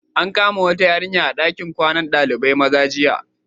An kama wata yarinya a dakin kwanan Dalibain maza jiya.